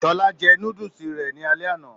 Shola jẹ núdúsí rẹ ní alẹ́ àna.